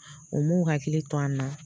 U m'u hakili to an na